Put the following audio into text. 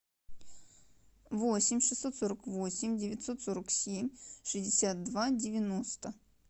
восемь шестьсот сорок восемь девятьсот сорок семь шестьдесят два девяносто